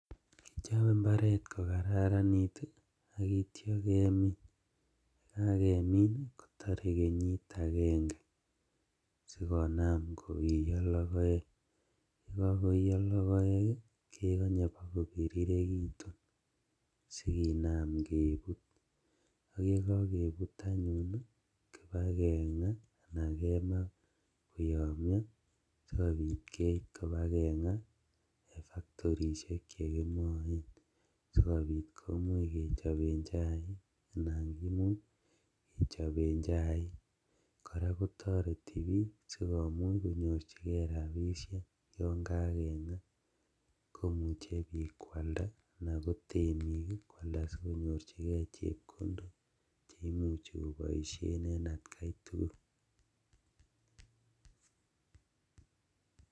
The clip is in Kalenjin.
Chope mbaret kokararanit akitya kemin. Yekakemin kotore kenyit ageng'e, sikona koiyo logoek. Yekokooyo logoyek kegonye ipakopiriregitun sikinam kepuut. Ak yegoge puut anyun, kipageng'a ana kema koyomnyo, sikopiit keip kipageng'a en factorishek chegingoen, sikopiit kechopen chaik anan kimuch, kechopen chaik. Kora kotoreti piik sikomuch konyorchikee rapisiek. Yon koagengaa komuche piik kwalda ana kotemiik kwalda sikosich chepkondok cheimuche koboisien en atkai tugul.